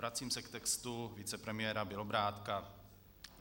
Vracím se k textu vicepremiéra Bělobrádka.